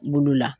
Bolo la